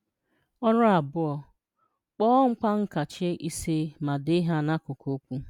– Ọrụ 2: Kpọọ ngwaankachi 5 ma dee ha n’akụkụ okwu.